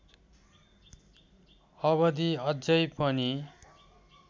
अवधि अझै पनि